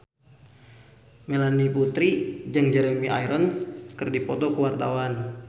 Melanie Putri jeung Jeremy Irons keur dipoto ku wartawan